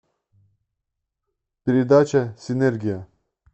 передача синергия